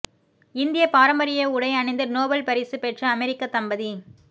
இந்திய பாரம்பரிய உடை அணிந்து நோபல் பரிசு பெற்ற அமெரிக்க தம்பதி